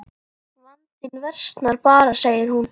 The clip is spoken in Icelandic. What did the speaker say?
Vandinn versnar bara segir hún.